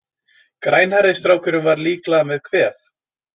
Grænhærði strákurinn var líklega með kvef.